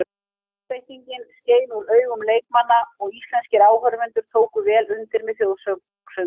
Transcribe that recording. Einbeitingin skein úr augun leikmanna og íslenskir áhorfendur tóku vel undir með þjóðsöngnum.